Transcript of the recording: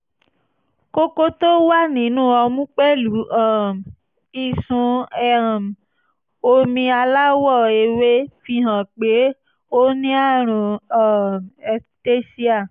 kókó tó wà nínú ọmú pẹ̀lú um ìsun um omi aláwọ̀ ewé fihàn pé ó ní àrùn um ectasia